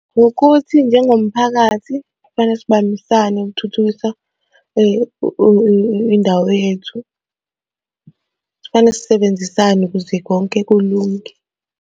Ukuthi njengomphakathi kufanele sibambisane ukuthuthukisa indawo yethu. Kufanele sisebenzisane ukuze konke kulunge.